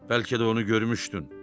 Bəlkə də onu görmüşdün.